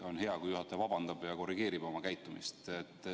Oleks hea, kui juhataja vabandaks ja korrigeeriks oma käitumist.